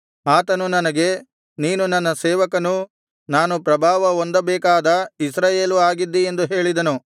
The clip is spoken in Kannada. ಆತನು ನನಗೆ ನೀನು ನನ್ನ ಸೇವಕನೂ ನಾನು ಪ್ರಭಾವಹೊಂದಬೇಕಾದ ಇಸ್ರಾಯೇಲೂ ಆಗಿದ್ದೀ ಎಂದು ಹೇಳಿದನು